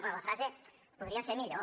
bé la frase podria ser millor